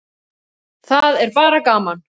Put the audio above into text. Það er bara gaman.